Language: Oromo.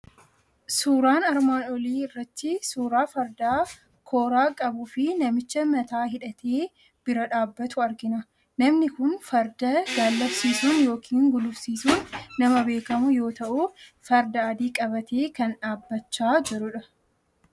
Suuraan armaan olii irratti suuraa farda kooraa qabuu fi namicha mataa hidhatee bira dhaabbatu argina. Namni kun farda gaallabsiisuun yookiin gulufsiisuun nama beekamu yoo ta'u, farda adii qabatee kan dhaabbachaa jirudha.